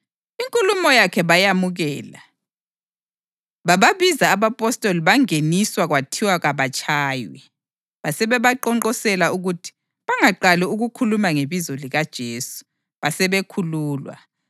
Inkulumo yakhe bayamukela. Bababiza abapostoli bangeniswa kwathiwa kabatshaywe. Basebeqonqoselwa ukuthi bangaqali ukukhuluma ngebizo likaJesu, basebekhululwa.